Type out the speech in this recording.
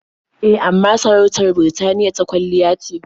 E, amma sarautar Birtaniya ta kwalliya ce.